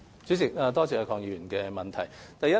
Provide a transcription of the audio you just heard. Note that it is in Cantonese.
主席，多謝鄺議員的補充質詢。